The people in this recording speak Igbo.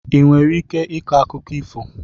Ị nwere ike ịkọ akụkụ ifo?